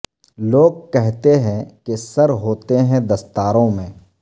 لوگ کہتے ہیں کہ سر ہوتے ہیں دستاروں میں